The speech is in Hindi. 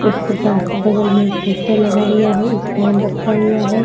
उसके पास बगल में एक पोस्टर लगा हुआ है एक फैन रखा हुआ है।